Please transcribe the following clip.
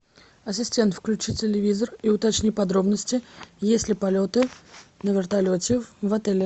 ассистент включи телевизор и уточни подробности есть ли полеты на вертолете в отеле